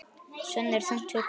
Svenni er þungt hugsi.